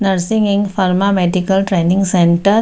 nursing and pharma medical training centre --